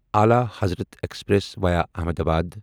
الا Hazrat express via Ahmedabad